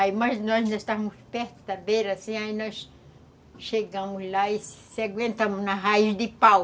Aí, mas nós, nós estávamos perto da beira, assim, aí nós chegamos lá e se aguentamos na raiz de pau.